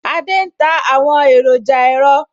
Adé ń ta àwọn èròjà ẹ̀rọ